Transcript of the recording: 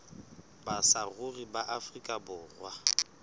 ba saruri ba afrika borwa